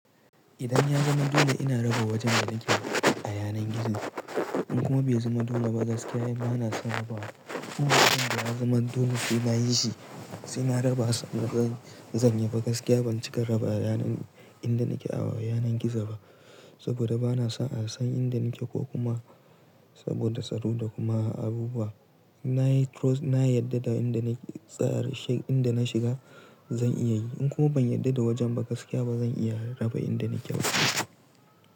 Idan ya zama dole ina raba wajen da nake a yanar gizo in kuma bai zama dole ba gaskiya ina bana son raba. Kuma idan ya zama dole sai na yi shi, sai na raba sannan zan yi gaskiya ban cika raba inda nake a wa yanar gizo ba saboda bana son a san inda nake ko kuma saboda tsaro da kuma abubuwa. Na yi cross, na yadda da inda na tsayar, she, inda na shiga zan iya yi in kuma ban yadda da wajen ba gaskiya ba zan iya raba inda nake ba.